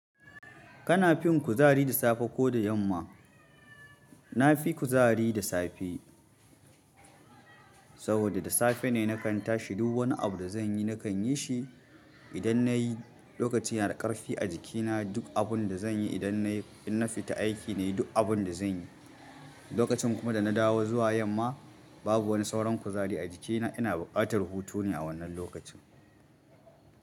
Kana fin kuzari da safe ko da yamma? Na fi kuzari da safe, saboda da safe ne na kan tashi. Duk wani abu da zan yi na kan yi shi. Idan na yi, lokaci yana da ƙarfi a jikina. Duk abin da zan yi idan na fita aiki na yi, duk abin da zan yi. Lokacin kuma da na dawo zuwa yamma, babu wani sauran kuzari a jikina. Ina buƙatar hutu ne a wannan lokacin.